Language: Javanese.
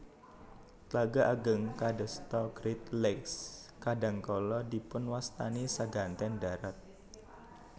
Tlaga ageng kadasta Great Lakes kadhangkala dipunwastani seganten dharat